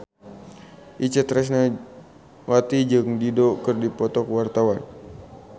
Itje Tresnawati jeung Dido keur dipoto ku wartawan